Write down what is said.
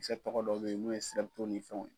tɔgɔ dɔw bɛ yen n'o ye ni fɛnw ye.